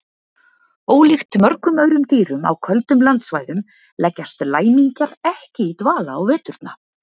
Ólíkt mörgum öðrum dýrum á köldum landsvæðum leggjast læmingjar ekki í dvala á veturna.